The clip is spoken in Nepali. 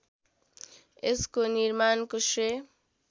यसको निर्माणको श्रेय